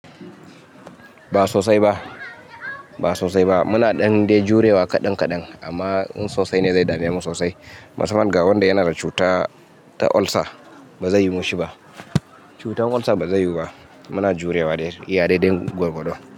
Ba sosai ba, muna ɗan dai jurewa kaɗan kaɗan amma in sosai ne, zai dame mu sosai. Masaman ga wanda yana da cuta ta olsa, ba zai yiwu ma shi ba. Cutar olsa ba zai yiwu ba. Muna jurewa da iya dai dai gwargwado.